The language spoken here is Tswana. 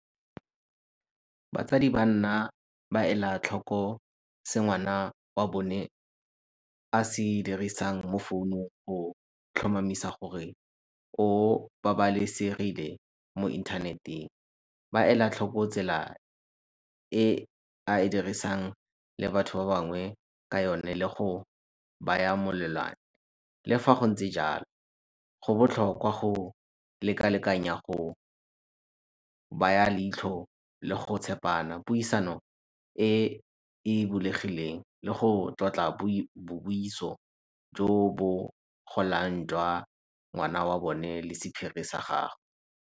Batsadi ba nna ba ela tlhoko se ngwana wa bone a se dirisang mo founong tlhomamisa gore o babalesegile mo inthaneteng. Ba ela tlhoko tsela e a dirisang le batho ba bangwe ka yone le go baya . Le fa go ntse jalo, go botlhokwa go lekalekanya go baya leitlho le go tshepana, puisano e e bulegileng le go tlotla jo bo jwa ngwana wa bone le sephiri sa gagwe.